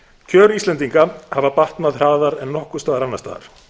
kjör íslendinga hafa batnað hraðar en nokkurs staðar annars staðar